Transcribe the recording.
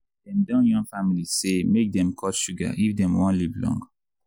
dem don yarn families say make dem cut sugar if dem wan live long.